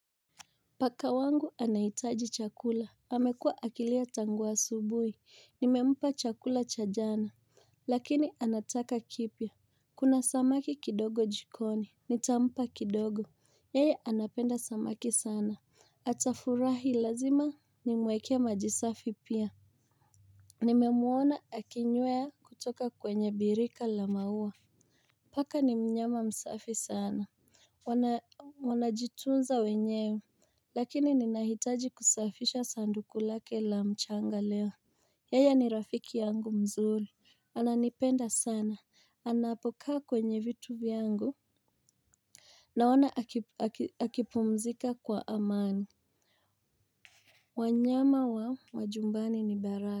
Paka wangu anahitaji chakula, amekua akilia tangu asubui, nimempa chakula cha jana, lakini anataka kipya. Kuna samaki kidogo jikoni, nitampa kidogo, kwa kuwa anapenda samaki sana, atafurahi. Lazima nimwekee maji safi pia. Nimemuona akinywa kutoka kwenye birika la maua. Paka ni mnyama msafi sana. Wanajitunza wenyewe. Lakini ninahitaji kusafisha sanduku lake la mchanga leo. Yeye ni rafiki yangu mzuri, ananipenda sana, anapokaa kwenye vitu vyangu. Naona akipumzika kwa amani. Wanyama wa majumbani ni baraka.